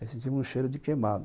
Aí senti um cheiro de queimado.